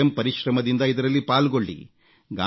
ಸ್ವಯಂ ಪರಿಶ್ರಮದಿಂದ ಇದರಲ್ಲಿ ಪಾಲ್ಗೊಳ್ಳಿ